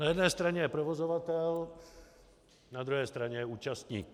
Na jedné straně je provozovatel, na druhé straně je účastník.